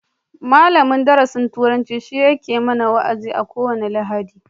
Malamin darasin turanci shi yake mana wa'azi a ko wani lahadi